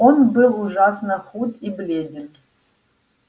он был ужасно худ и бледен